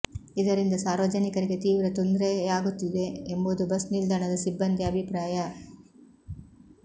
ಇದರಿಂದ ಸಾರ್ವಜನಿಕರಿಗೆ ತೀವ್ರ ತೊಂದರೆಯಾಗುತ್ತಿದೆ ಎಂಬುದು ಬಸ್ ನಿಲ್ದಾಣದ ಸಿಬ್ಬಂದಿ ಅಭಿಪ್ರಾಯ